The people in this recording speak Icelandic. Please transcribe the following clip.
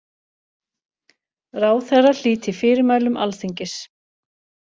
Ráðherra hlíti fyrirmælum Alþingis